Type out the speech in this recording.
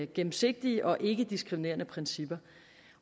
gennemsigtige og ikkediskriminerende principper